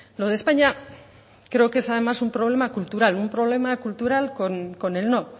lo de españa creo que es además un problema cultural un problema cultural con el no